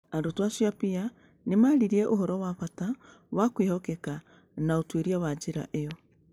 Arutwo acio a PEER nĩ maaririe ũhoro wa bata wa kwĩhokeka na ũtuĩria wa njĩra ĩyo.